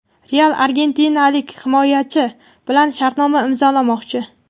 "Real" argentinalik himoyachi bilan shartnoma imzolamoqchi.